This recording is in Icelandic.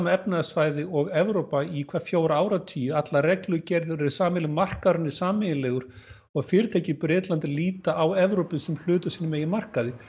efnahagssvæði og Evrópa í hvað fjóra áratugi allar reglugerðir eru sameiginlegar markaðurinn er sameiginlegur og fyrirtæki í Bretlandi líta á Evrópu sem hluta af sínum eigin markaði